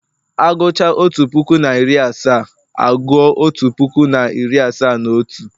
Agucha otu puku na iri asaa, aguo otu puku na iri asaa na otu